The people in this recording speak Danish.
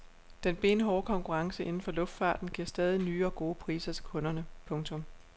Den benhårde konkurrence inden for luftfarten giver stadig nye og gode priser til kunderne. punktum